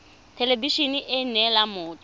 thelebi ene e neela motho